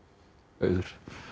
auður